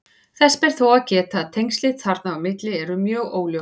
Þess ber þó að geta að tengslin þarna á milli eru mjög óljós.